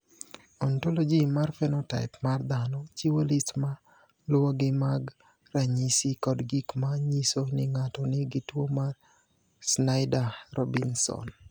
"Ontology mar phenotype mar dhano chiwo list ma luwogi mag ranyisi kod gik ma nyiso ni ng’ato nigi tuwo mar Snyder Robinson."